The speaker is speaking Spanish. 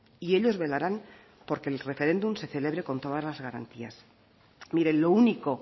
y ellos velarán porque el referéndum se celebre con todas las garantías mire lo único